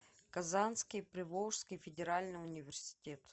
казанский приволжский федеральный университет